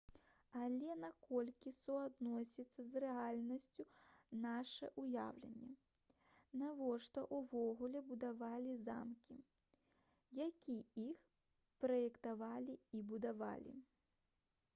але наколькі суадносіцца з рэальнасцю наша ўяўленне навошта ўвогуле будавалі замкі як іх праектавалі і будавалі